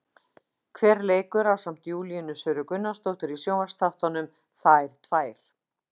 Hver leikur ásamt Júlíönu Söru Gunnarsdóttir í sjónvarpsþáttunum, Þær tvær?